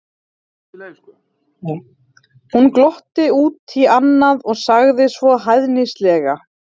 Hún glotti út í annað og sagði svo hæðnislega